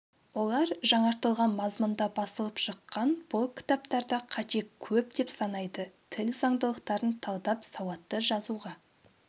олар жаңартылған мазмұнда басылып шыққан бұл кітаптарда қате көп деп санайды тіл заңдылықтарын талдап сауатты жазуға